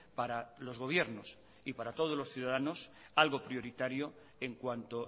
para los gobiernos y para todos los ciudadanos algo prioritario en cuanto